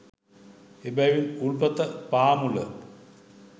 එබැවින් උල්පත පාමුල